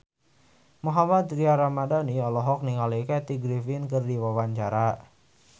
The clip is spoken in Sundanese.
Mohammad Tria Ramadhani olohok ningali Kathy Griffin keur diwawancara